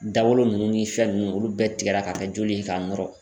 Dagolo nunnu ni fɛn nunnu olu bɛɛ tigɛra k'a kɛ joli ye k'a nɔrɔ.